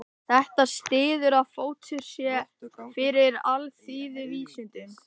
Þetta styður að fótur sé fyrir alþýðuvísindunum.